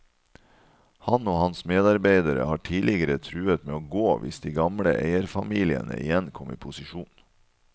Han og hans medarbeidere har tidligere truet med å gå hvis de gamle eierfamiliene igjen kom i posisjon.